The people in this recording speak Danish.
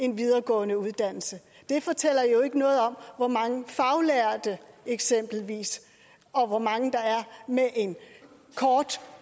en videregående uddannelse det fortæller jo ikke noget om hvor mange faglærte eksempelvis og hvor mange med en kort